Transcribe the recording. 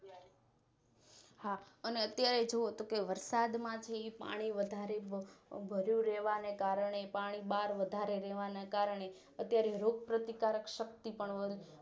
હા અને અત્યારે જોવોતો કે વરસાદ માંથી પાણી વધારે ભરિયું રેવા ને કારણે પાણી બાર વધારે રેવાના કારણે અત્યારે રોગ પ્રતિકારકશક્તિપણ